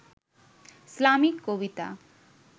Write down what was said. Islamic Kabita